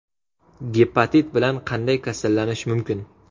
Gepatit bilan qanday kasallanish mumkin?